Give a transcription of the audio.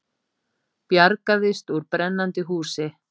Bjargaðist úr brennandi húsi